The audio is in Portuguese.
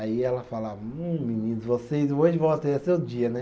Aí ela falava, hum, meninos, vocês hoje vão ter seu dia, né?